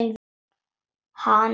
Hana þá.